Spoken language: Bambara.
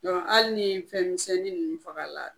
hali ni fɛn misɛnnin ninnu fagala